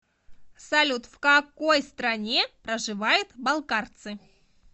салют в какой стране проживают балкарцы